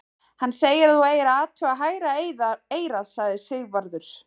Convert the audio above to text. Hann segir að þú eigir að athuga hægra eyrað, sagði Sigvarður.